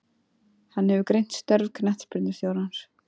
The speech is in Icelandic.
Hann hefur greint störf knattspyrnustjórans.